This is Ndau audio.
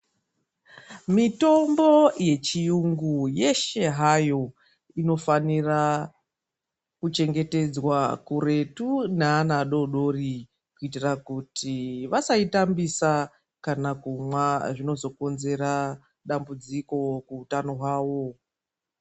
Mitombo yechiyungu yeshe hayo, inofanira kuchengetedzwa kuretu naana adodori kuitira kuti vasaitambida kana kumwa, zvinozokonzera dambudziko kuutano hwavo.